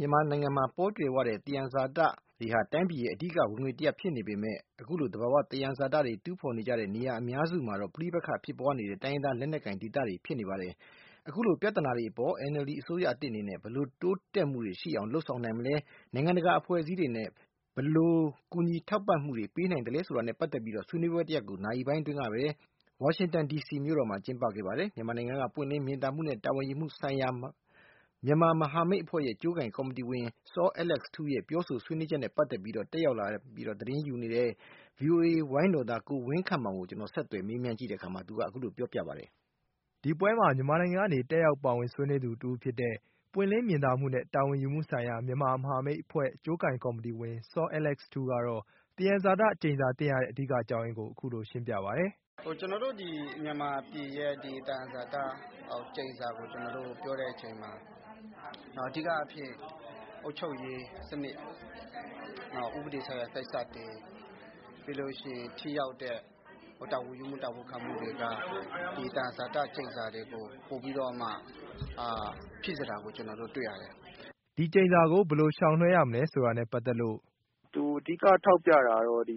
မြန်မာနိုင်ငံမှာ ပေါကြွယ်ဝတဲ့ သယံဇာတတွေဟာ တိုင်းပြည်ရဲ့ အဓိကဝင်ငွေဖြစ်နေပေမဲ့ အခုလို သဘာဝသယံဇာတတွေ တူးဖော်နေကြတဲ့ နေရာအများစုမှာတော့ ပဋိပက္ခဖြစ်ပွားနေတဲ့ တိုင်းရင်းသားလက်နက်ကိုင် ဒေသတွေဖြစ်နေပါတယ်။ အခုလို ပြဿနာတွေအပေါ် NLD အစိုးရသစ်အနေနဲ့ ဘယ်လို တိုးတက်မှုတွေရှိအောင် လုပ်ဆောင်နိုင်မလဲ။ နိုင်ငံတကာ အဖွဲ့အစည်းတွေနဲ့ ဘယ်လို ကူညီထောက်ပံ့မှုတွေ ပေးနိုင်သလဲဆိုတာနဲ့ ပတ်သက်ပြီး ဆွေးနွေးပွဲတရပ်ကို ဝါရှင်တန်ဒီစီမြို့တော်မှာ ဗုဒ္ဓဟူးနေ့က ကျင်းပခဲ့ပါတယ်။ မြန်မာနိုင်ငံက ပွင့်လင်းမြင်သာမှုနဲ့ တာဝန်ယူမှုဆိုင်ရာ မြန်မာမဟာမိတ်အဖွဲ့ရဲ့ ကြိုးကိုင်ကော်မတီဝင် စောအဲလက်စ်ထူးရဲ့ ပြောဆိုဆွေးနွေးချက်နဲ့ ပတ်သက်ပြီးတော့ တက်ရောက်သတင်းယူနေတဲ့ ဗွီအိုအေဝိုင်းတော်သား ကိုဝင်းခန့်မောင်ကို ဦးစံမိုးဝေက ဆက်သွယ်မေးမြန်းကြည့်တဲ့က အခုလို စ ပြောခဲ့ပါတယ်။ ဒီပွဲမှာ မြန်မာနိုင်ငံကနေ တက်ရောက်ပါဝင်ဆွေးနွေးသူ တဦးဖြစ်တဲ့ ပွင့်လင်းမြင်သာမှုနဲ့ တာဝန်ယူမှုဆိုင်ရာ မြန်မာမဟာမိတ်အဖွဲ့ အကျိုးကိုင်ကော်မတီဝင် စောအဲလက်စ်ထူးကတော့ သယံဇာတကျိန်စာသင့်ရတဲ့ အဓိကအကြောင်းအရင်းကို အခုလို ရှင်းပြပါတယ်။ “ကျနော်မြန်မာပြည်ရဲ့ သယံဇာတကျိန်စာကို ကျနော်တို့ ပြောတဲ့အချိန်မှာ အဓိကအားဖြင့် အုပ်ချုပ်ရေးစနစ်၊ နောက် ဥပဒေဆိုင်ရာ ကိစ္စတွေ၊ ပြီးလို့ရှိရင် ထိရောက်တဲ့ တာဝန်ယူမှု၊ တာဝန်ခံမှုတွေက သယံဇာတကျိန်စာတွေကို ပိုပြီးတော့မှ ဖြစ်စေတာကို ကျနော်တို့ တွေ့ရတယ်။” ဒီကျိန်စာကို ဘယ်လိုရှောင်လွှဲရမလဲဆိုတာနဲ့ ပတ်သက်လို့ - “သူ အဓိကထောက်ပြတာကတော့ ဒီ